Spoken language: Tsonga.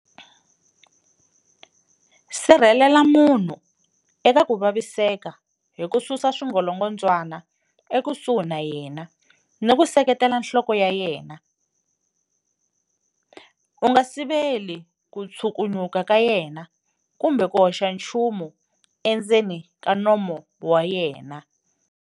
Sirhelela munhu eka ku vaviseka hi ku susa swingolongondzwana ekusuhi na yena ni ku seketela nhloko ya yena. U nga siveli ku tshukunyuka ka yena kumbe ku hoxa nchumu endzeni ka nomo wa yena.